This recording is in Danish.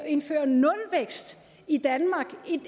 indføre nulvækst i danmark et